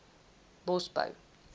bosbou